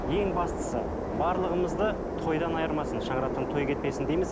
ең бастысы барлығымызды тойдан айырмасын шаңырақтан той кетпесін дейміз